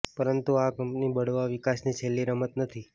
પરંતુ આ કંપની બળવા વિકાસની છેલ્લી રમત નથી